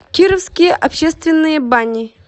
кировские общественные бани